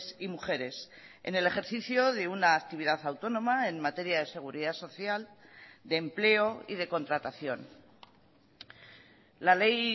y mujeres en el ejercicio de una actividad autónoma en materia de seguridad social de empleo y de contratación la ley